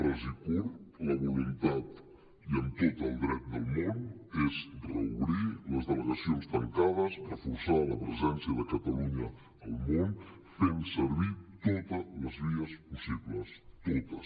ras i curt la voluntat i amb tot el dret del món és reobrir les delegacions tancades reforçar la presència de catalunya al món fent servir totes les vies possibles totes